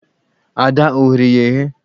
Ada o ghere ya eghe!